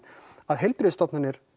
að heilbrigðisstofnanir